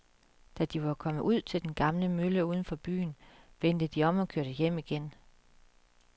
Da de var kommet ud til den gamle mølle uden for byen, vendte de om og kørte hjem igen.